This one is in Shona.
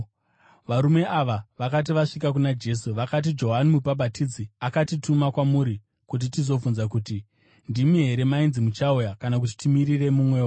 Varume ava vakati vasvika kuna Jesu, vakati, “Johani Mubhabhatidzi akatituma kwamuri kuti tizobvunza kuti, ‘Ndimi here mainzi muchauya, kana kuti timirire mumwewo?’ ”